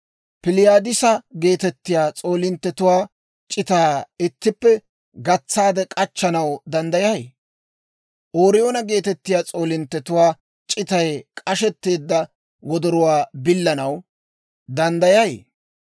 «Piliyaadisa geetettiyaa s'oolinttetuwaa c'itaa ittippe gatsaade k'achchanaw danddayay? Ooriyoona geetettiyaa s'oolinttetuwaa c'itay k'ashetteedda wodoruwaa billanaw danddayay?